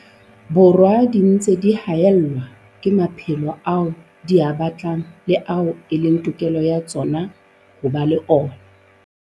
Borwa di ntse di haellwa ke maphelo ao di a batlang le ao e leng tokelo ya tsona ho ba le ona.